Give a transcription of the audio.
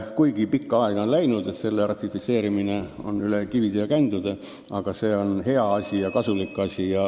Kuigi pikalt on aega läinud – selle ratifitseerimine on läinud üle kivide ja kändude –, on see hea ja kasulik asi.